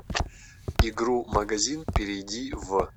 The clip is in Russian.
игру магазин перейди в